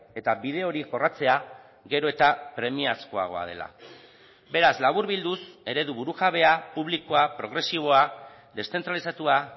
eta bide hori jorratzea gero eta premiazkoagoa dela beraz laburbilduz eredu burujabea publikoa progresiboa deszentralizatua